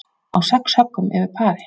Á sex höggum yfir pari